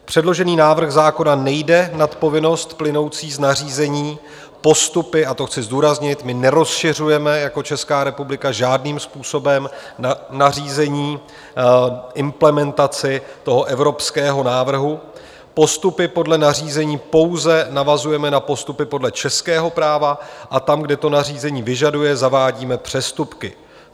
Předložený návrh zákona nejde nad povinnost plynoucí z nařízení, postupy - a to chci zdůraznit, my nerozšiřujeme jako Česká republika žádným způsobem nařízení, implementaci toho evropského návrhu - postupy podle nařízení pouze navazujeme na postupy podle českého práva a tam, kde to nařízení vyžaduje, zavádíme přestupky.